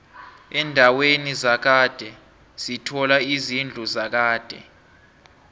endaweni zakhade sithola izidlu zakade